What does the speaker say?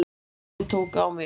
Ferlið tók á mig